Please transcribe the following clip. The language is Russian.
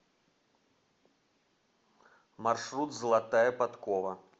маршрут золотая подкова